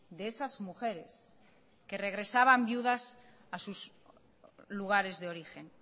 de esas mujeres que regresaban viudas a sus lugares de origen